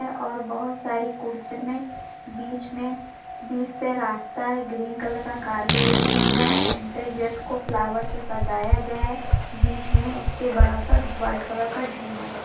--और बहुत सारी कुर्सी मे बीच मे से रास्ता है ग्रीन कलर का कारपेट बिछा है एंट्री गेट को फ्लावर से सजाया गया है बीच मे उसके बडा सा व्हाइट कलर का झूमर है।